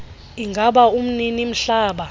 ingaba umnini mhlaba